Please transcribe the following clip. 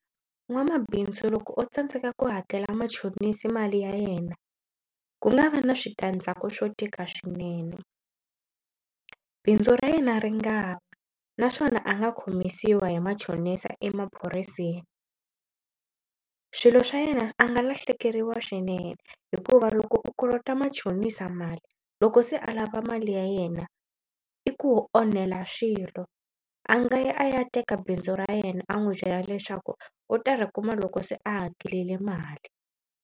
N'wamabindzu loko o tsandzeka ku hakela machonisi mali ya yena ku nga va na switandzhaku swo tika swinene. Bindzu ra yena ri nga wa naswona a nga khomisiwa hi machonisa emaphoriseni. Swilo swa yena a nga lahlekeriwa swinene hikuva loko u kolota machonisa mali loko se a lava mali ya yena i ku onhela swilo. A nga ya a ya teka bindzu ra yena a n'wi byela leswaku u ta ri kuma loko se a hakerile mali.